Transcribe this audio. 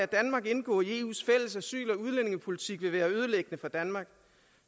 danmark indgå i eus fælles asyl og udlændingepolitik vil være ødelæggende for danmark